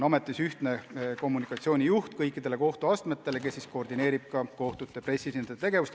Ametis on kõikide kohtuastmete ühine kommunikatsioonijuht, kes koordineerib kohtute pressiesindajate tegevust.